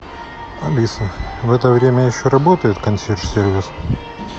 алиса в это время еще работает консьерж сервис